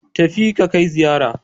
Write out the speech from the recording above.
Tafi ka kai ziyara.